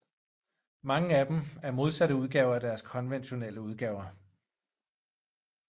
Mange af dem er modsatte udgaver af deres konventionelle udgaver